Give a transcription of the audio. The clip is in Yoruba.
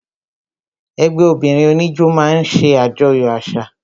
Ẹgbẹ́ obìnrin oníjó máa ń ṣe ajoyo àṣà